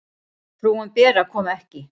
Frúin Bera kom ekki.